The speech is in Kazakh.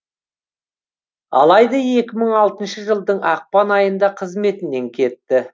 алайда екі мың алтыншы жылдың ақпан айында қызметінен кетті